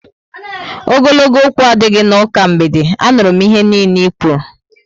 Ogologo okwu adịghị n'ụka mgbede, a nụrụ m ihe nille i kwụrụ